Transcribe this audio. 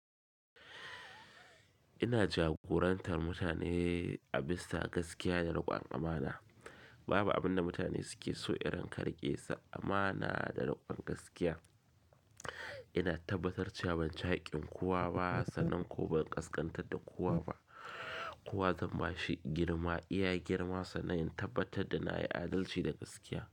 Ina jagorantar mutane a bisa gaskiya da riƙon amana. Babu abin da mutane suke so irin ka rika su amana da riƙon gaskiya. Ina tabbatar cewa ban ci haƙƙin kowa ba sannan ko ban ƙasƙantar da kowa ba. Kowa zai ma shi girma, iya girmasa na yin tabbatar da na yi adalci da gaskiya.